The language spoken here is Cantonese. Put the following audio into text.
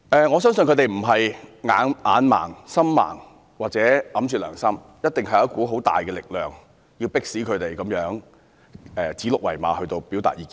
我相信他們不是眼盲、心盲或埋沒良心，一定是有一股十分大的力量，迫使他們如此指鹿為馬般地表達意見。